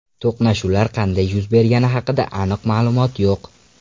To‘qnashuvlar qanday yuz bergani haqida aniq ma’lumot yo‘q.